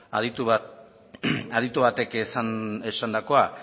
aditu batek esandakoa